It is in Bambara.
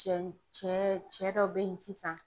Cɛ cɛ cɛ dɔ bɛ ye sisan